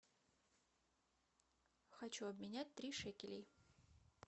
хочу обменять три шекелей